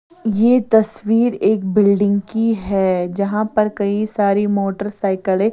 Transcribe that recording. ये तस्वीर एक बिल्डिंग की है जहाँ पर कई सारी मोटरसाइकलें --